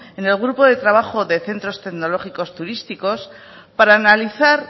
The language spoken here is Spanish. en el grupo de trabajo de centros tecnológicos turísticos para analizar